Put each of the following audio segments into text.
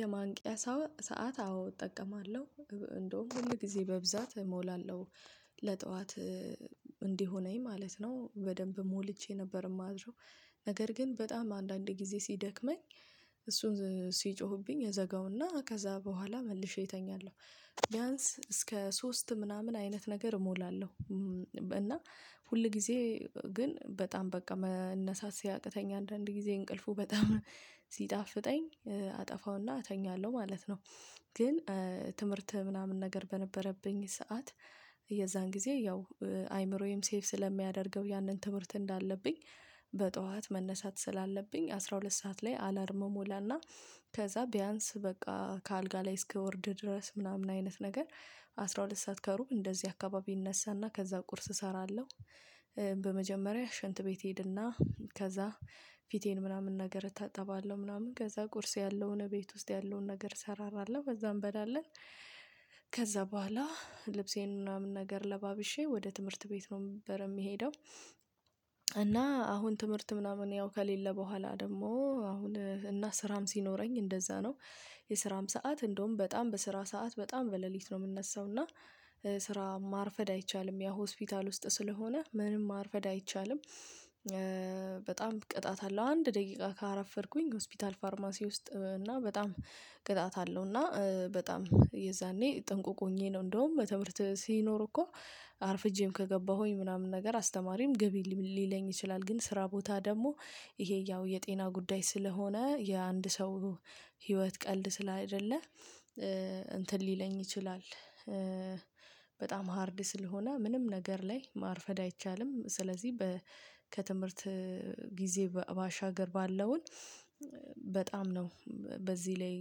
የማንቂያ ሰዓት አዎ እጠቀማለሁ እንደውም ሁል ጊዜ በብዛት እሞላለሁ ለጠዋት እንዲሆነኝ ማለት ነው በደንብ ሞልቼ ነበር የማድረው ነገር ግን በጣም አንዳንድ ጊዜ ሲደክመኝ እሱን ሲጮሁብኝ እዘጋውና ከዛ በኋላ መልሼ እተኛለሁ። ቢያንስ እስከ ሶስት ምናምን አይነት ነገር እሞላለሁ። እና ሁል ጊዜ ግን በጣም በቃ መነሳት ሲያቅተኝ አንዳንድ ጊዜ እንቅልፉ በጣም ሲጣፍጠኝ አጠፋውና እተኛለሁ ማለት ነው። ግን ትምህርት ምናምን ነገር በነበረብኝ ሰዓት የዛን ጊዜ ያው አይምሮየም ሴቭ ስለሚያደርገው ያንን ትምህርት እንዳለብኝ በጥዋት መነሳት ስላለብኝ አስራ ሁለት ሰዓት ላይ አላርም እሞላና ከዛ ቢያንስ በቃ ከአልጋ ላይ እስከወርድ ድረስ ምናምን አይነት ነገር አስራ ሁለት ሰዓት ከሩብ እንደዚህ አካባቢ እነሳና ከዛ ቁርስ እሰራለሁ። በመጀመሪያ ሽንት ቤት እሄድና ከዛ ፊቴን ምናምን ነገር እታጠባለሁ ምናምን ከዛ ቁርስ ያለውን ቤት ውስጥ ያለውን ነገር እሰራራለሁ ከዛ እንበላለን። ከዛ በኋላ ልብሴን ምናምን ለባብሼ ወደ ትምህርት ቤት ነው ነበር የሚሄደው። እና አሁን ትምህርት ምናምን ያው ከሌለ በኋላ ደግሞ አሁን እና ስራም ሲኖረኝ እንደዛ ነው። የስራም ሰዓት እንደውም በጣም በስራ ሰዓት በጣም በሌሊት ነው የምነሳው እና ስራ ማርፈድ አይቻልም ያው ሆስፒታል ውስጥ ስለሆነ ምንም ማርፈድ አይቻልም። በጣም ቅጣት አለው አንድ ደቂቃ ካረፈድኩኝ ሆስፒታል ፋርማሲ ውስጥ እና በጣም ቅጣት አለው። እና በጣም የዛኔ ጥንቁቅ ሆኜ ነው እንደውም ትምህርት ሲኖር እኮ አርፍጄም ከገባሁኝ ምናምን ነገር አስተማሪም ግቢ ሊለኝ ይችላል። ግን ስራ ቦታ ደግሞ ይሄ ያው የጤና ጉዳይ ስለሆነ የአንድ ሰው ህይወት ቀልድ ስላይደለ እንትን ሊለኝ ይችላል። በጣም ሃርድ ስለሆነ ምንም ነገር ላይ ማርፈድ አይቻልም። ስለዚህ በ ከትምህርት ጊዜ ባሻገር ባለውን በጣም ነው። በዚህ ላይ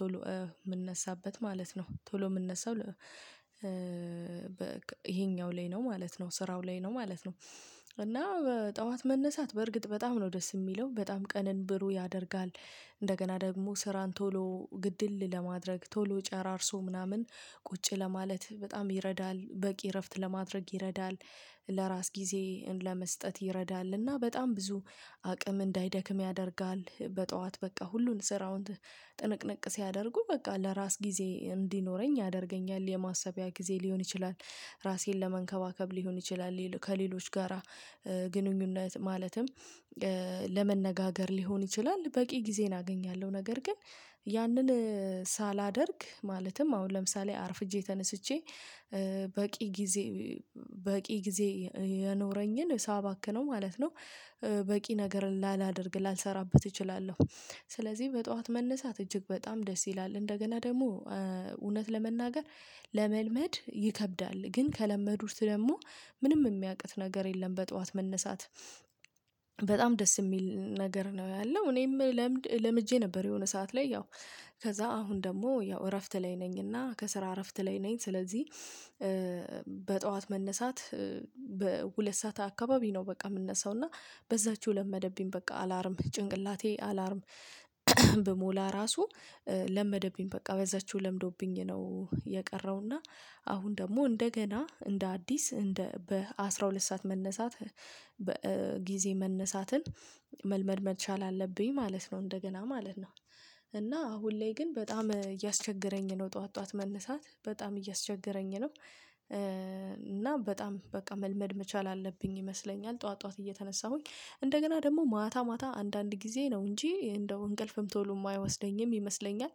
ቶሎ የምነሳበት ማለት ነው ቶሎ የምነሳው። ይሄኛው ላይ ነው ማለት ነው ስራው ላይ ነው ማለት ነው። እና በጠዋት መነሳት በርግጥ በጣም ነው ደስ የሚለው በጣም ቀንን ብሩህ ያደርጋል። እንደገና ደግሞ ስራን ቶሎ ግድል ለማድረግ ቶሎ ጨራርሶ ምናምን ቁጭ ለማለት በጣም ይረዳል በቂ እረፍት ለማድረግ ይረዳል። ለራስ ጊዜ ለመስጠት ይረዳል እና በጣም ብዙ አቅም እንዳይደክም ያደርጋል በጠዋት በቃ ሁሉን ስራውን ጥንቅቅ ሲያደርጉ በቃ ለራስ ጊዜ እንዲኖረኝ ያደርገኛል የማሰቢያ ጊዜ ሊሆን ይችላል። ራሴን ለመንከባከብ ሊሆን ይችላል ከሌሎች ጋራ ግንኙነት ማለትም ለመነጋገር ሊሆን ይችላል። በቂ ጊዜን አገኛለሁ ነገር ግን ያንን ሳላደርግ ማለትም አሁን ለምሳሌ አርፍጄ ተነስቼ በቂ ጊዜ በቂ ጊዜ የኖረኝን ሳባክነው ማለት ነው። በቂ ነገር ላላደርግ ላልሰራበት እችላለሁ። ስለዚህ በጠዋት መነሳት እጅግ በጣም ደስ ይላል። እንደገና ደግሞ እውነት ለመናገር ለመልመድ ይከብዳል ግን ከለመዱት ደግሞ ምንም የሚቅት ነገር የለም። በጠዋት መነሳት በጣም ደስ የሚል ነገር ነው ያለው። እኔም ለምድ ለምጄ ነበር የሆነ ሰዓት ላይ ያው ከዛ አሁን ደግሞ ያው እረፍት ላይ ነኝና ከስራ አረፍት ላይ ነኝ ስለዚህ። በጠዋት መነሳት በሁለት ሰዓት አካባቢ ነው በቃ የምነሳው እና በዛችው ለመደብኝ በቃ አላርም ጭንቅላቴ አላርም ብሞላ ራሱ ለመደብኝ በቃ በዛችው ለምዶብኝ ነው። የቀረው እና አሁን ደግሞ እንደገና እንደ አዲስ እንደ በአስራ ሁለት ሰዓት መነሳት በ ጊዜ መነሳትን መልመድ መቻል አለብኝ ማለት ነው እንደገና ማለት ነው። እና አሁን ላይ ግን በጣም እያስቸገረኝ ነው ጠዋት ጠዋት መነሳት በጣም እያስቸገረኝ ነው። እና በጣም በቃ መልመድ መቻል አለብኝ ይመስለኛል ጠዋት ጠዋት እየተነሳሁኝ እንደገና ደግሞ ማታ ማታ አንዳንድ ጊዜ ነው እንጂ እንደው እንቅልፍም ቶሎ የማይወስደኝም ይመስለኛል።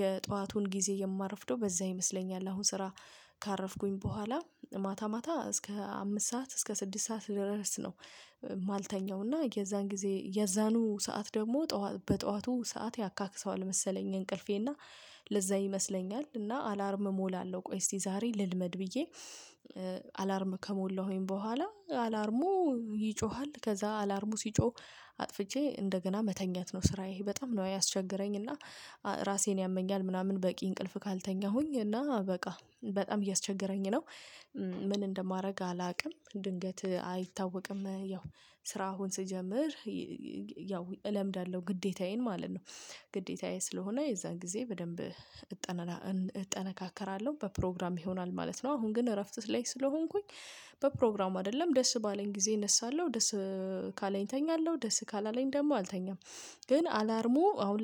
የጥዋቱን ጊዜ የማረፍደው በዛ ይመስለኛል አሁን ስራ ካረፍኩኝ በኋላ ማታ ማታ እስከ አምስት ሰዓት እስከ ስድስት ሰዓት ድረስ ነው። እማልተኛው እና የዛን ጊዜ የዛኑ ሰዓት ደግሞ ጥዋ በጠዋቱ ሰዓት ያካክሰዋል መሰለኝ እንቅልፌ እና ለዛ ይመስለኛል እና አላርም እሞላለሁ ቆይ እስቲ ዛሬ ልልመድ ብዬ። አላርም ከሞላሁኝ በኋላ አላርሙ ይጮሃል ከዛ አላርሙ ሲጮህ አጥፍቼ እንደገና መተኛት ነው ስራዬ በጣም ነው ያስቸገረኝ እና ራሴን ያመኛል ምናምን በቂ እንቅልፍ ካልተኛሁኝ እና በቃ በጣም እያስቸገረኝ ነው። ምን እንደማደርግ አላቅም ድንገት አይታወቅም ያው ስራ አሁን ስጀምር ያው እለምዳለሁ ግዴታዬን ማለት ነው። ግዴታዬ ስለሆነ የዛን ጊዜ በደንብ እጠነ እጠነካከራለሁ በፕሮግራም ይሆናል ማለት ነው። አሁን ግን እረፍት ላይ ስለሆንኩኝ በፕሮግራም አይደለም ደስ ባለኝ ጊዜ እነሳለሁ ደስ ካለኝ እተኛለሁ ደስ ካላለኝ ደግሞ አልተኛም። ግን አላርሙ አሁን